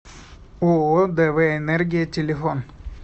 ооо дв энергия телефон